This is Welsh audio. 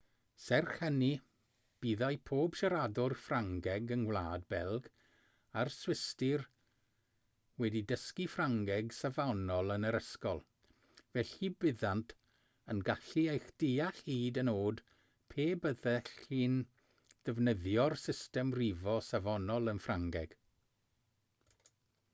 serch hynny byddai pob siaradwr ffrangeg yng ngwlad belg a'r swistir wedi dysgu ffrangeg safonol yn yr ysgol felly byddent yn gallu eich deall hyd yn oed pe byddech chi'n defnyddio'r system rifo safonol yn ffrangeg